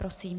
Prosím.